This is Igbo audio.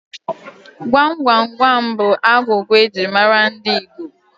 Gwam Gwam Gwam bụ agwụgwa eji mara ndị Igbo